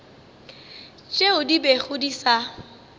tšeo di bego di sa